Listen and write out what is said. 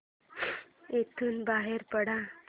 इथून बाहेर पड